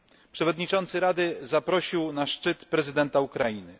Przewodniczący Rady zaprosił na szczyt prezydenta Ukrainy.